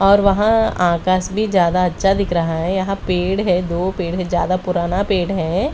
और वहां आकाश भी ज्यादा अच्छा दिख रहा है यहां पेड़ है दो पेड़ है ज्यादा पुराना पेड़ है।